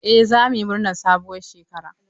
Eh za mu yi murnar sabuwar shekara.